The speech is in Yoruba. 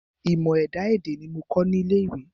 Ìmọ̀ ẹ̀dá-èdè ní mo kà ní ilé ìwé.